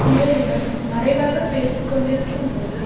பிறருடன் மறைவாகப் பேசி கொண்டிருக்கும்போது